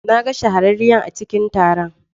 Na ga shahararriyar a cikin taron.